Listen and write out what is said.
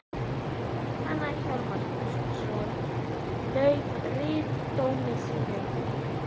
Jóhann Hjálmarsson lauk ritdómi sínum í